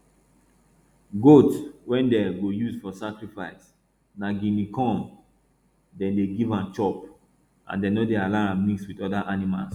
goat wey dem go use for sacrifice na guinea corn dem dey give am chop and dem no dey allow am mix with other animals